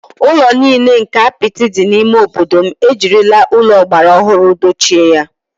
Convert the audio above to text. Ụlọ nile nke apịtị dị n’ime obodo m ejirila ụlọ ọgbara ọhụrụ dochie ya